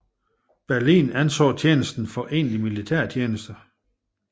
Berlin anså tjenesten for egentlig militærtjeneste